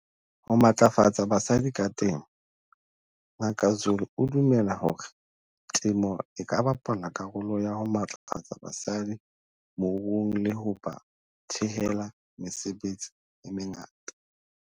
Ho matlafatsa basadi ka temo Ngaka Zulu o dumela hore temo e ka bapala karolo ya ho matlafatsa basadi moruong le ho ba thehela mesebetsi e mengata.